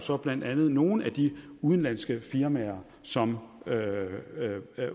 for blandt andet nogle af de udenlandske firmaer som